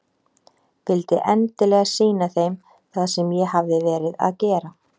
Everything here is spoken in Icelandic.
Vildi endilega sýna þeim það sem ég hafði verið að gera.